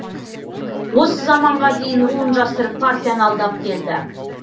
осы заманға дейін руын жасырып партияны алдап келді